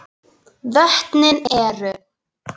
Vötnin eru